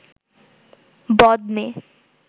বদ মেয়ে